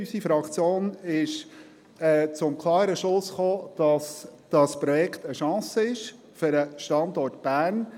Unsere Fraktion kam zum klaren Schluss, dieses Projekt sei eine Chance für den Standort Bern.